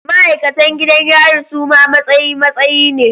Ma'aikatan gidan yari suma matsayi matsayi ne